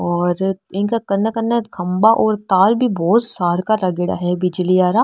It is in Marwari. और इनक कन कन खम्भा और तार भी बहोत सार का लागेड़ा है बिजली आरा।